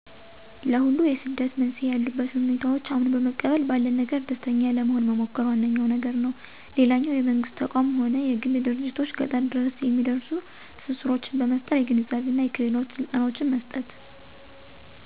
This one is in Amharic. ለሁሉ የስደት መንስኤ ያሉበትን ሁኔታዎች አምኖ በመቀበል ባለን ነገር ደስተኛ ለመሆን መሞከር ዋነኛዉ ነገር ነው። ሌላኛው የመንግስት ተቋም ሆነ የግል ድርጅቶች ገጠር ድረስ የሚደርሱ ትስስሮችን በመፍጠር የግንዛቤና የክህሎት ስልጠናዎችን መስጠት።